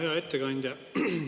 Hea ettekandja!